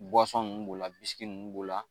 nun b'o la bisiki nun b'o la.